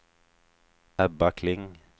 Ebba Kling